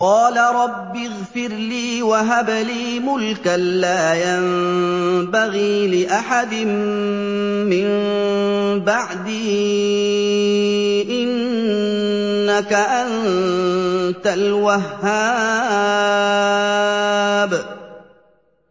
قَالَ رَبِّ اغْفِرْ لِي وَهَبْ لِي مُلْكًا لَّا يَنبَغِي لِأَحَدٍ مِّن بَعْدِي ۖ إِنَّكَ أَنتَ الْوَهَّابُ